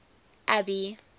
abby